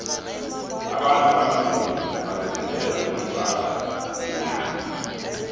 abantu abanzima bazithandela umratha nenyama